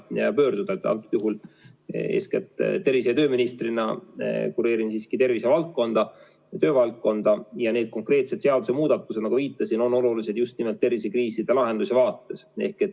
Antud juhul ma eeskätt tervise- ja tööministrina kureerin siiski tervisevaldkonda ja töövaldkonda ja need konkreetsed seadusemuudatused, nagu ma ka viitasin, on olulised just nimelt tervisekriiside lahendamiseks.